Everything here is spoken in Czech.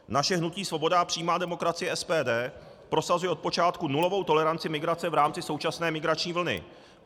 Naše hnutí Svoboda a přímá demokracie, SPD, prosazuje od počátku nulovou toleranci migrace v rámci současné migrační vlny.